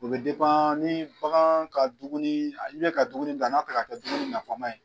O be ni bagan ka dumuni, i bɛ ka dumuni di n'a tɛ ka kɛ dumuni nafama ye.